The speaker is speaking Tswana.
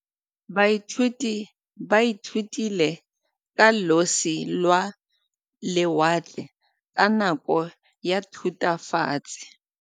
Baithuti ba ithutile ka losi lwa lewatle ka nako ya Thutafatshe.